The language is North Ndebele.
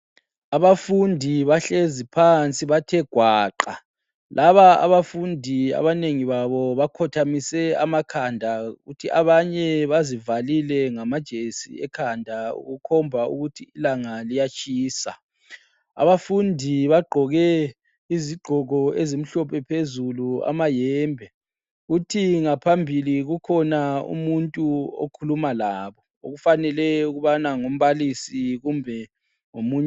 Abafundi bahlezi phansi bathe gwaqa. Laba abafundi abanengi babo bakhothamise amakhanda. Kuthi abanye bazivalile ngamajesi ekhanda, kukhomba ukuthi ilanga liyatshisa. Abafundi bagqoke izigqoko ezimhlophe phezulu, amahembe. Kuthi ngaphambili kukhona umuntu okhuluma labo. Okufanele ukubana ngumbalisi kumbe ngomunye.